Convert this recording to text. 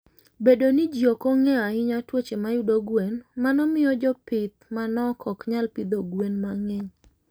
Bedo ni ji ok ong'eyo ahinya tuoche mayudo gwen, mano miyo jopith manok ok nyal pidho gwen mang'eny.